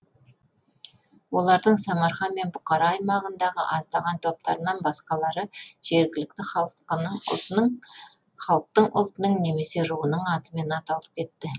олардың самарқан мен бұхара аймағындағы аздаған топтарынан басқалары жергілікті халықтың ұлтының немесе руының атымен аталып кетті